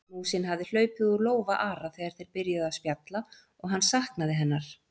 Músin hafði hlaupið úr lófa Ara þegar þeir byrjuðu að spjalla og hann saknaði hennar.